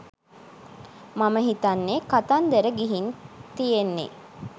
මම හිතන්නේ කතන්දර ගිහින් තියෙන්නේ